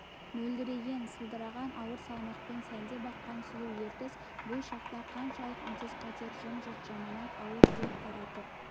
мөлдіреген сылдыраған ауыр салмақпен сәндеп аққан сұлу ертіс бұл шақта қаншалық үнсіз қатер жым-жырт жаманат ауыр дерт таратып